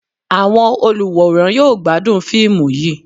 Awọn oluwórán yọọ gbadún fiimú yíí